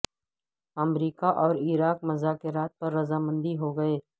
امریکہ اور عراق مذاکرات پر رضا مند ہو گئے